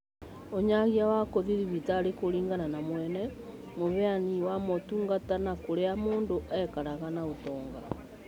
ũnyagia wa gũthiĩ thibitarĩ kũringana na mwene, mũheani wa motungata na kũrĩa mũndũ aikaraga na ũtonga